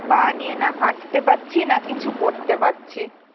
পা নিয়ে না হাঁটতে পারছি না কিছু করতে পারছি